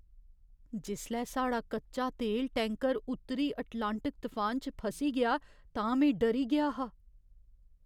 जिसलै साढ़ा कच्चा तेल टैंकर उत्तरी अटलांटिक तफान च फसी गेआ तां में डरी गेआ हा।